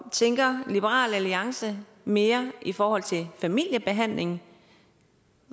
tænker liberal alliance mere i forhold til familiebehandling